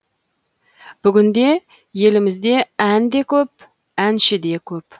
бүгінде елімізде ән де көп әнші де көп